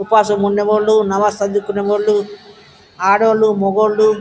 ఉపవాసం ఉండేవాళ్లు నమాజ్ చదువుకునే వాళ్ళు ఆడవళ్లు మగోళ్ళు --